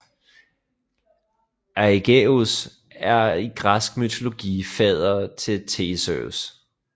Aigeus er i græsk mytologi fader til Theseus